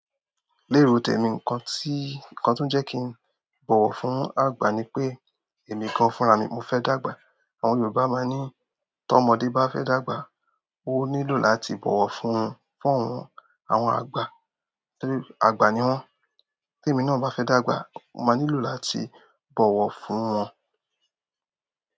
Lérò, tèmi nǹkan tí, nǹkan tó n jẹ́ kí n bọ̀wọ̀ fún àgbà ni pé èmi gan fúnra mi mo fẹ́ dàgbà. Àwọn Yorùbá máa ń ní "tó ọmọdé bá fẹ́ dàgbà, ó nílò láti bọ̀wọ̀ fún, fún àwọn, àwọn àgbà". Àgbà ni wọ́n. Tí èmi náà bá fẹ́ dàgbà, mo máa nílò láti bọ̀wọ̀ fún wọn.